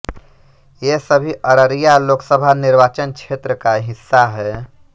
ये सभी अररिया लोकसभा निर्वाचन क्षेत्र का हिस्सा हैं